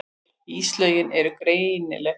Íslögin eru greinileg.